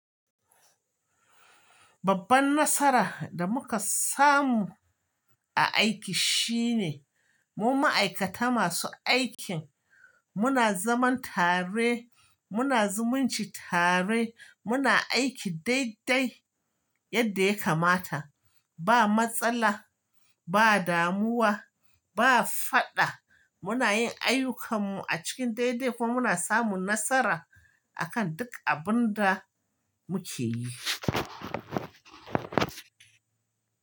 Babban nasara da muka samu a aiki shine mu ma'aikata masu aikin muna zaman tare, muna zumunci tare, muna aiki daidai yadda ya kamata. Ba matsala, ba damuwa, ba faɗa. Muna yin ayyukanmu a cikin daidai kuma muna samun nasara a kan duk abin da muke yi.